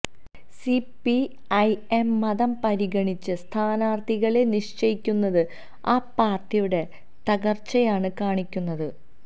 C P I M മതം പരിഗണിച്ച് സ്ഥാനാര്ത്ഥികളെ നിശ്ചയിക്കുന്നത് ആ പാര്ട്ടിയുടെ തകര്ച്ചയാണ് കാണിക്കുന്നത്